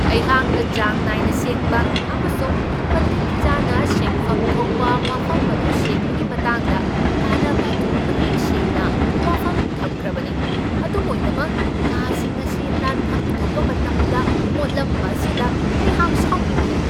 ꯑꯩꯍꯥꯛꯅ ꯆꯥꯡ ꯅꯥꯏꯅ ꯁꯦꯡꯕ ꯑꯃꯁꯨꯡ ꯃꯇꯤꯛ ꯆꯥꯅ ꯁꯦꯡꯐꯝ ꯊꯣꯛꯄ ꯃꯐꯝ ꯑꯗꯨ ꯁꯦꯡꯕꯒꯤ ꯃꯇꯥꯡꯗ ꯀꯥꯟꯅꯕ ꯑꯗꯨ ꯃꯌꯦꯛ ꯁꯦꯡꯅ ꯋꯥꯐꯝ ꯊꯝꯈ꯭ꯔꯕꯅꯤ, ꯑꯗꯨꯝ ꯑꯣꯏꯅꯃꯛ ꯀꯥꯁꯤꯡ ꯑꯁꯤ ꯅꯥꯟꯐꯝ ꯊꯣꯛꯄ ꯃꯇꯝꯗ ꯃꯣꯠꯂꯝꯕ ꯑꯁꯤꯗ ꯑꯩꯍꯥꯛ ꯁꯥꯎꯅꯤꯡꯢ !